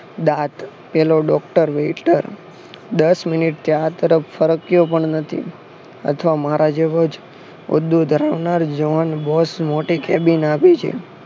દાંત પેલો doctor waiter દસ મિનિટથી આ તરફ ફરક્યો પણ નથી અથવા મારા જેવો જ